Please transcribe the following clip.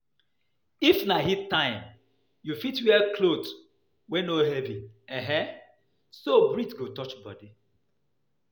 If na heat time, you fit wear cloth wey no heavy um so breeze go touch body